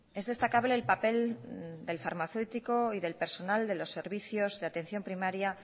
es destacable el papel del farmacéutico y del personal de los servicios de atención primaria